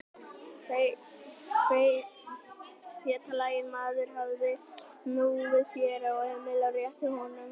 Feitlaginn maður hafði snúið sér að Emil og rétti að honum hundrað-króna seðil.